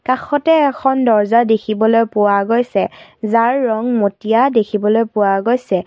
কাষতে এখন দৰ্জা দেখিবলৈ পোৱা গৈছে যাৰ ৰং মটীয়া দেখিবলৈ পোৱা গৈছে।